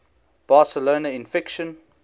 barcelona in fiction